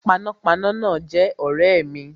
Panápaná náà jé ọ̀rẹ́ mi